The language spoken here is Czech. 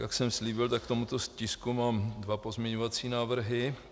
Jak jsem slíbil, tak k tomuto tisku mám dva pozměňovací návrhy.